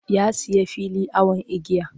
Ya sayi fili awon igiya.